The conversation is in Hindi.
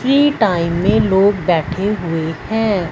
फ्री टाइम में लोग बैठे हुए हैं।